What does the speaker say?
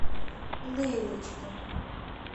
лейлочке